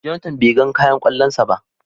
"Jonathan " be gan kayan kwallon sa ba.